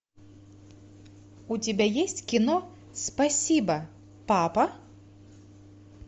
у тебя есть кино спасибо папа